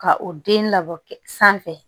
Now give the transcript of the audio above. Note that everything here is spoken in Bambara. Ka o den labɔ sanfɛ